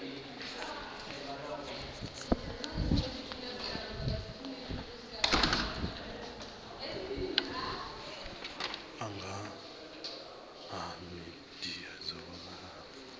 angana ha midia dzo vhalaho